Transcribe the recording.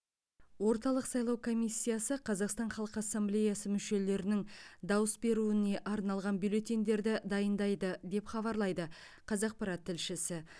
орталық сайлау комиссиясы қазақстан халқы ассемблеясы мүшелерінің дауыс беруіне арналған бюллетендерді дайындайды деп хабарлайды қазақпарат тілшісі